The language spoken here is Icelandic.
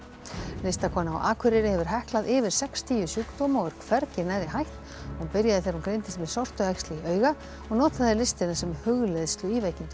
listakona á Akureyri hefur heklað yfir sextíu sjúkdóma og er hvergi nærri hætt hún byrjaði þegar hún greindist með sortuæxli í auga og notaði listina sem hugleiðslu í veikindunum